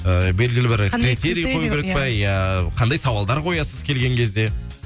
ііі белгілі бір критерий қою керек пе иә қандай сауалдар қоясыз келген кезде